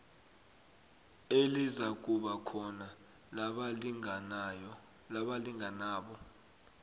elizakuba khona labalinganabo